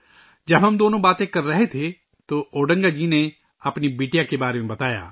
جب ہم دونوں باتیں کر رہے تھے تو اوڈنگا جی نے اپنی بیٹی کے بارے میں بتایا